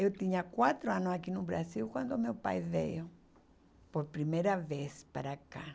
Eu tinha quatro anos aqui no Brasil quando meu pai veio por primeira vez para cá.